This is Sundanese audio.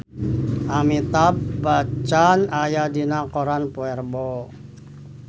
Amitabh Bachchan aya dina koran poe Rebo